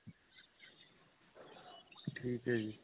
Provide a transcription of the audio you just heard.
ਠੀਕ ਏ ਜੀ